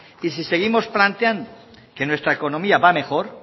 y si seguimos planteando que nuestra economía va a mejor